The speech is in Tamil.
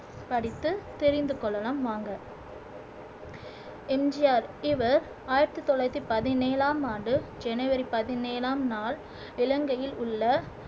படித்து தெரிந்து கொள்ளலாம் வாங்க எம் ஜி ஆர் இவர் ஆயிரத்தி தொள்ளாயிரத்தி பதினேழாம் ஆண்டு ஜனவரி பதினேழாம் நாள் இலங்கையில் உள்ள